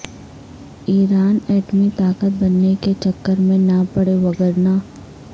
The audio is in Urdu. ایران ایٹمی طاقت بننے کے چکر میں نہ پڑے وگرنہ